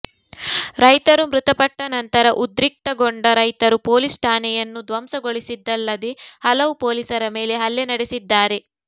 ರೈತರು ಮೃತಪಟ್ಟ ನಂತರ ಉದ್ರಿಕ್ತಗೊಂಡ ರೈತರು ಪೊಲೀಸ್ ಠಾಣೆಯನ್ನು ಧ್ವಂಸಗೊಳಿಸಿದ್ದಲ್ಲದೆ ಹಲವು ಪೊಲೀಸರ ಮೇಲೆ ಹಲ್ಲೆ ನಡೆಸಿದ್ದಾರೆ